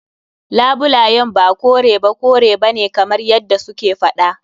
Labulayen ba kore ba kore bane kamar yadda su ke faɗa.